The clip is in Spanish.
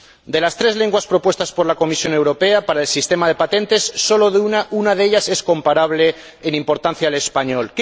De las tres lenguas propuestas por la Comisión Europea para el sistema de patentes, sólo una de ellas es comparable en importancia al español.